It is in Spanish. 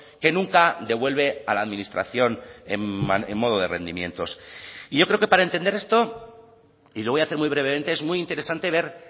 que nunca devuelve a la administración en modo de rendimientos y yo creo que para entender esto y lo voy a hacer muy brevemente es muy interesante ver